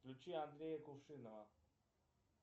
включи андрея кувшинова